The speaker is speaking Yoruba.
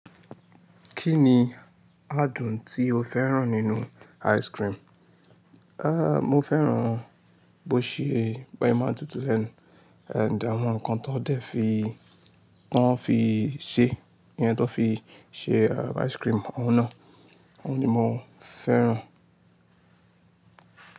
Kí ni adùn tí ó féràn nínu ice cream? Mo fẹ́ràn bó ṣe, bó ye máa ń tutù lẹ́nu, àǹd àwọn nǹkan tó dẹ́ fi, tó ń fi ṣe, iye tó fi ṣe ice cream, òun náà. Òun ni mo fẹ́ràn.